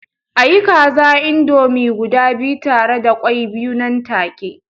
A yi kaza indomie guda biyu tare da kwai biyu nan take